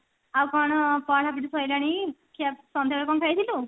ଆଉ କ'ଣ ପଢାପଢି ସରିଲାଣି ଖିଆ ସନ୍ଧ୍ଯା ବେଳେ କଣ ଖାଇଥିଲୁ ?